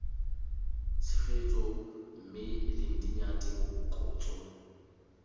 tshegetso mme lindi nyati mokotso